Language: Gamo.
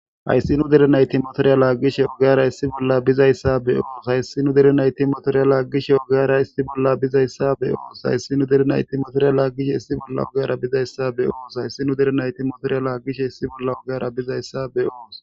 hayssinu derenay timotoriya laaggishe ogara issi bolla bizayssa be oonos hayssi nu derenay ti motoriya laaggishe ogara isti bolla bizayssabe ooos hayssi nu derenay timotoriya laaggish hissi bolla ogara bizayssa be ooos hayssi nu derenay ti motoriya laaggishe hissi bolla ogara bizayssa be oos